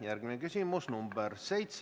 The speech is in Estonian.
Järgmine küsimus on nr 7.